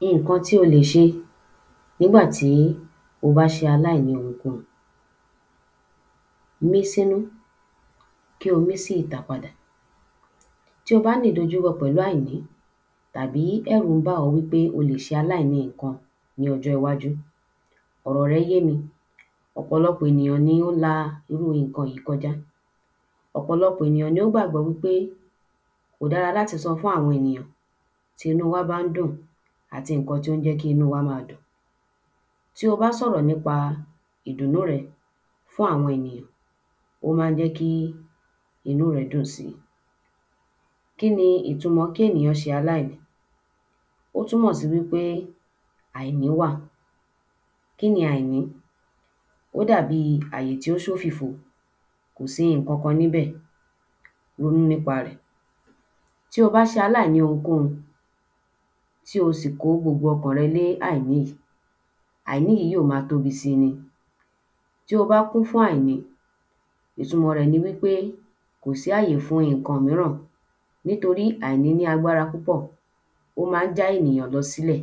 ﻿Iǹkan tí o lè ṣe nígbà tí o bá ṣe aláìní ohunkóhun Mí sínú kí o mí sí ìta padà. Tí ó ní ìdojúkọ pẹ̀lú àìní tàbí ẹ̀rú ń bá ọ́ wí pé o lè ṣaláìní iǹkun ní ójó iwájú, ọ̀rọ̀ rẹ́ yé mi. Ọ̀pọ̀lọpọ̀ èyàn ni ó la irú ìnkàn yìí kojá. Ọ̀pọ̀lọpọ̀ èyàn ní ó gbàgbọ́ wí pé kò dára láti sọ fún àwọn enìyàn tí inú wá bá ń dùn àti ìnkan tí ó ń jẹ́ kí inú wá ma dùn. Tí o bá sọ̀rọ̀ nípa ìdùnú rẹ fún àwọn enìyàn ó má ń jẹ́ kí inú rẹ dùn si. Kí ni ìtumọ̀ kí ènìyàn ṣe aláìní? Ó túmọ̀ sí wí pé àìní wà. Kí ni àìní? Ó dàbi àyè tí ó ṣó fìfo. Kò sí ìnkankan níbẹ̀. Ronú nípa rẹ̀. Tí o bá ṣaláìní ohunkóhun tí o sì kó gbogbo ọkàn rẹ lé àìní yìí, àìní yìí yí ó ma tóbi si ni. Tí o bá kún fún àìní ìtúmọ rẹ̀ ni wí pé kò sí àyè fún iǹkan míràn nítorí àìní ní agbára púpọ̀. Ó má ń já ènìyàn lọ sí lẹ̀.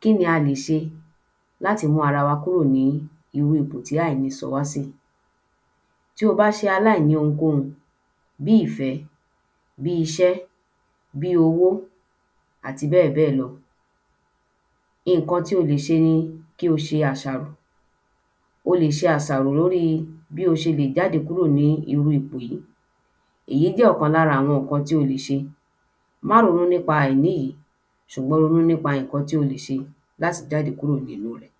Kí ni a lè ṣe láti mú ara wa kúrò ní irú ipò tí àìní sọ wá sí yìí? Tí o bá ṣaláìń ohunkóhun bí ìfẹ́, bí iṣẹ́, bí owó, àti bẹ́ẹ̀ bẹ́ẹ̀ lọ ìnkan tí o lè ṣe ni kí o ṣe àṣàrò. O lè ṣe àṣàró lórí bí o ṣe lè jáde kúrò ní irú ipò yìí. Èyí jẹ́ ọ̀kan lára àwọn ǹkan tí o lè ṣe. Má ronú nípa àìní yìí ṣùgbọ́n ronú nípa ìnkan tí o le ṣe láti jáde kúrò nínú ẹ̀.